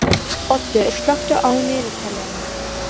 Oddur, slökktu á niðurteljaranum.